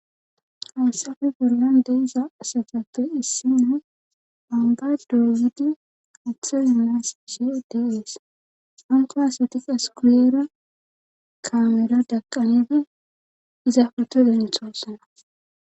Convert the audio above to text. Hasafe gorlan de iza asatappe issinna amba doyyidi atha yulas g ds anko asati askuyera kaamera daqqanedi iza futo denthosana